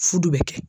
Fu de bɛ kɛ